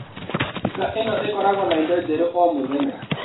Duka ino ĩkoragwo na indo njerũ o mũthenya.